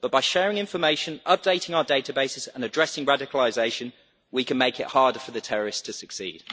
But by sharing information, updating our databases and addressing radicalisation, we can make it harder for the terrorists to succeed.